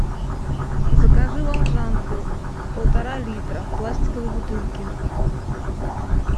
закажи волжанку полтора литра в пластиковой бутылке